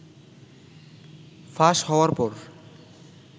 ফাঁস হওয়ার পর